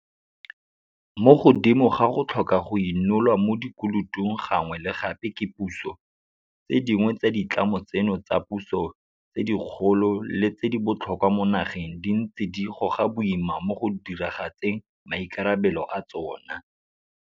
Mo godimo ga go tlhoka go inolwa mo dikolotong gangwe le gape ke puso, tse dingwe tsa ditlamo tseno tsa puso tse dikgolo le tse di botlhokwa mo nageng di ntse di goga boima mo go diragatseng maikarabelo a tsona.